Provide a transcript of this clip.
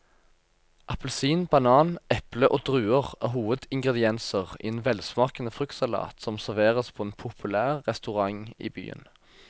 Appelsin, banan, eple og druer er hovedingredienser i en velsmakende fruktsalat som serveres på en populær restaurant i byen.